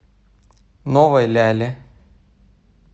новой ляле